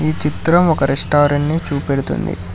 ఈ చిత్రం ఒక రెస్టారెంట్ ని చూపెడుతుంది.